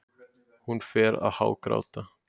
Hún fór að hágráta.